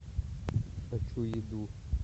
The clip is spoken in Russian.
хочу еду